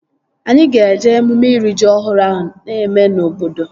Anyị ga-eje emume iri ji ọhụrụ ahụ na-eme na obodo